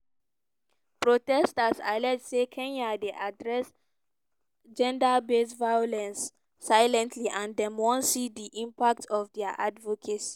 protesters allege say kenya dey address gender-based violence silently and dem wan see di impact of dia advocacy.